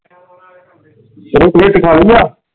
ਮੇਰੀ ਪਲੇਟ ਰਖਾ ਲਈ ਆ?